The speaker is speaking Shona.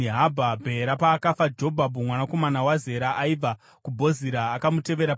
Bhera paakafa, Jobhabhi mwanakomana waZera aibva kuBhozira akamutevera paumambo.